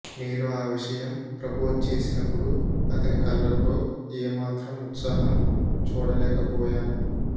నేను ఆ విషయం ప్రపోజ్ చేసినపుడు అతని కళ్ళలో ఏ మాత్రం ఉత్సాహం చూడలేకపోయాను